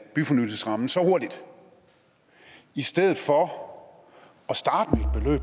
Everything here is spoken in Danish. byfornyelsesrammen så hurtigt i stedet for